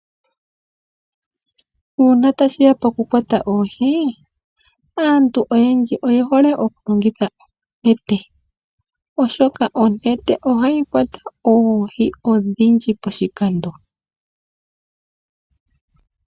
Uuna tashi ya pokukwata oohi, aantu oyendji oye hole okulongitha onete. Oshoka onete ohayi kwata oohi odhindji poshikando.